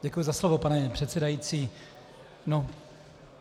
Děkuji za slovo, pane předsedající.